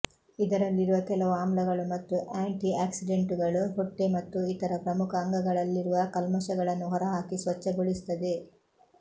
ಇದರಲ್ಲಿರುವ ಕೆಲವು ಆಮ್ಲಗಳು ಮತ್ತು ಆಂಟಿ ಆಕ್ಸಿಡೆಂಟುಗಳು ಹೊಟ್ಟೆ ಮತ್ತು ಇತರ ಪ್ರಮುಖ ಅಂಗಗಳಲ್ಲಿರುವ ಕಲ್ಮಶಗಳನ್ನು ಹೊರಹಾಕಿ ಸ್ವಚ್ಛಗೊಳಿಸುತ್ತದೆ